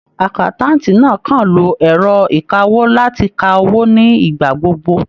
Àkáńtáǹtì náà kan ń lo ẹ̀rọ ìkawó láti ka owó ní ìgbà gbogbo